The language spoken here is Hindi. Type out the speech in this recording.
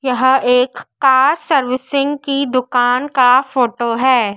यहां एक कार सर्विसिंग की दुकान का फोटो है।